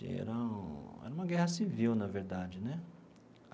E era era uma guerra civil, na verdade né.